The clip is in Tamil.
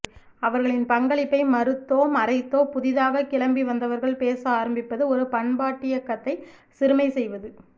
அவர்களின் பங்களிப்பை மறுத்தோ மறைத்தோ புதிதாகக் கிளம்பிவந்தவர்கள் பேச ஆரம்பிப்பது ஒரு பண்பாட்டியக்கத்தை சிறுமைசெய்வது